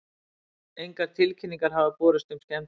Engar tilkynningar hafa borist um skemmdir